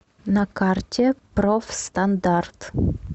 на карте профстандарт